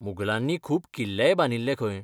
मुघलांनी खूब किल्लेय बांदिल्ले खंय.